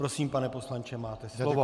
Prosím, pane poslanče, máte slovo.